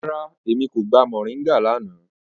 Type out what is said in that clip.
Rárá, Emi ko gba mọringa lana.